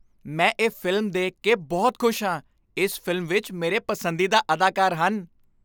ਮੈਂ ਇਹ ਫ਼ਿਲਮ ਦੇਖ ਕੇ ਬਹੁਤ ਖੁਸ਼ ਹਾਂ। ਇਸ ਫ਼ਿਲਮ ਵਿੱਚ ਮੇਰੇ ਪਸੰਦੀਦਾ ਅਦਾਕਾਰ ਹਨ।